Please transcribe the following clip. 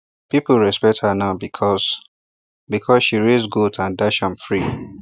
people respect her now because because she raise goat and dash am free